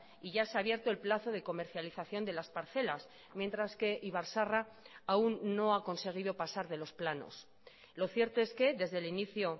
y ya se ha abierto el plazo de comercialización de las parcelas mientras que ibar zaharra aún no ha conseguido pasar de los planos lo cierto es que desde el inicio